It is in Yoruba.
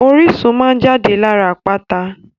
Orísun máa n jáde lára àpáta.